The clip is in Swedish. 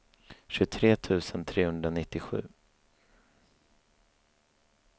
tjugotre tusen trehundranittiosju